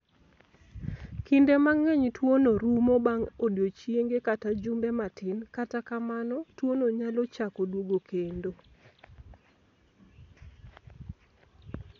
Kinde mang'eny, tuwono rumo bang' odiechienge kata jumbe matin; kata kamano, tuwono nyalo chako duogo kendo.